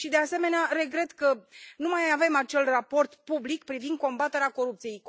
Și, de asemenea, regret că nu mai avem acel raport public privind combaterea corupției.